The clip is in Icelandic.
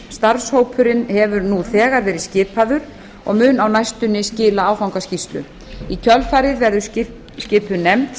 starfshópurinn hefur nú þegar verið skipaður og mun á næstunni skila áfangaskýrslu í kjölfarið verður skipuð nefnd